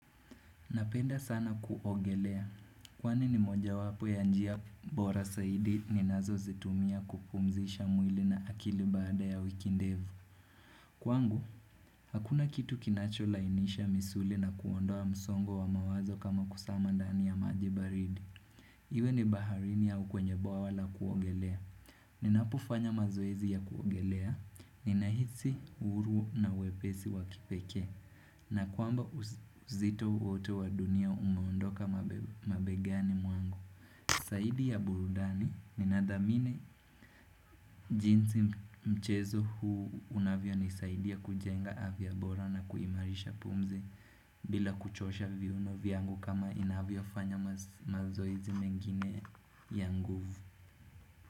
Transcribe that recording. Napenda sana kuogelea. Kwani mojawapo ya njia bora zaidi ninazozitumia kupumzisha mwili na akili baada ya wiki ndefu Kwangu, hakuna kitu kinacho lainisha misuli na kuondoa msongo wa mawazo kama kusama ndani ya maji baridi. Iwe ni baharini au kwenye bwawa la kuogelea. Ninapofanya mazoezi ya kuogelea. Ninahisi uhuru na wepesi wa kipekee. Na kwamba uzito wote wa dunia umeondoka mabegani mwangu saidi ya burudani ninadhamini. Jinsi mchezo huu unavyonisaidia kujenga afya bora na kuimarisha pumzi. Bila kuchosha viuno viangu kama inavyo fanya mazoizi mengine ya nguvu.